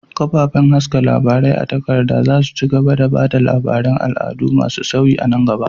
Kafafen haska labarai a takarda za su ci gaba da ba da labaran al'adu masu sauyi a nan gaba.